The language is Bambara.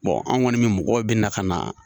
an kɔni me mɔgɔw bɛ na ka na